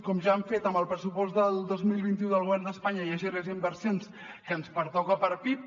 com ja han fet amb el pressupost del dos mil vint u del govern d’espanya que hi hagi les inversions que ens pertoca per pib